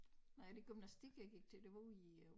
Nej det gymnastik jeg gik til det var ude i øh